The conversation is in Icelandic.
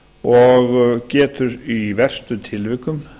og getur í verstu tilvikum